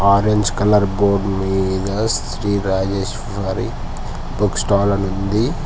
Orange colour board మీద Sri Rajeshwari book stall ఉంది.